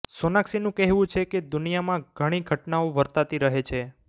સોનાક્ષીનું કહેવું છે કે દુનિયાામાં ઘણી ઘટનાઓ વર્તાતી રહે છે